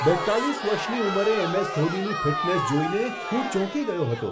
બેત્તાલીસ વર્ષની ઉંમરે એમ.એસ. ધોનીની ફિટનેસ જોઈને હું ચોંકી ગયો હતો.